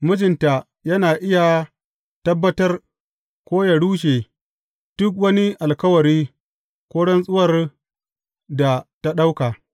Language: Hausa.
Mijinta yana iya tabbatar, ko yă rushe duk wani alkawari ko rantsuwar da ta ɗauka.